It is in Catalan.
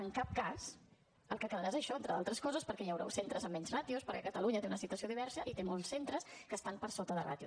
en cap cas el que quedarà és això entre d’altres coses perquè hi haurà centres amb menys ràtios perquè catalunya té una situació diversa i té molts centres que estan per sota de ràtio